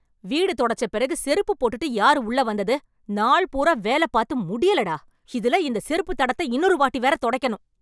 வீடு தொடச்ச பிறகு செருப்பு போட்டுட்டு யாரு உள்ள வந்தது? நாள் பூரா வேலப் பாத்து முடியலடா. இதுல இந்த செருப்புத் தடத்த இன்னொரு வாட்டி வேறத் தொடைக்கணும்.